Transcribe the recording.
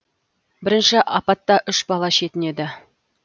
бірінші апатта үш бала шетінеді